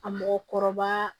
A mɔgɔkɔrɔba